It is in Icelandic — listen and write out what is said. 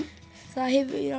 það